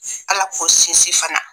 Ala k'o sinsin fana.